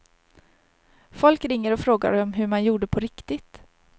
Folk ringer och frågar om hur man gjorde på riktigt.